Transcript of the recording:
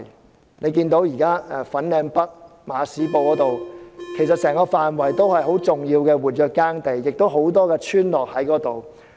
大家可以看到現時整個粉嶺北馬屎埔的範圍也是重要的活躍耕地，亦有多個村落在那裏。